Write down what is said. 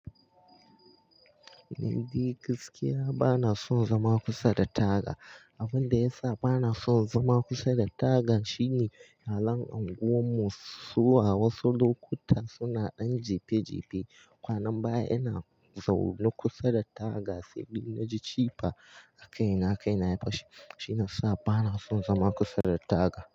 Ni dai gaskiya ba na son zama kusa da taga. Abunda yasa bana son zama kusa da taga shine, halan anguwan mu, zuwa wasu lokuta suna ɗan jife-jife. Kwana baya ina zaune kusa da taga sai ni na ji jifa a kaina, kaina ya fashe. Shi yasa bana son zama kusa da taga.